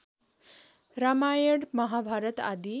रामायण महाभारत आदि